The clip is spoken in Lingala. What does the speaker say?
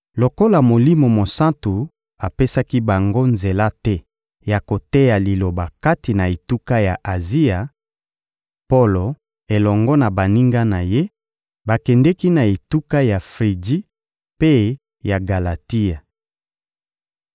Lokola Molimo Mosantu apesaki bango nzela te ya koteya Liloba kati na etuka ya Azia, Polo elongo na baninga na ye bakendeki na etuka ya Friji mpe ya Galatia.